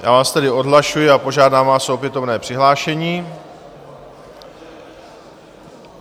Já vás tedy odhlašuji a požádám vás o opětovné přihlášení.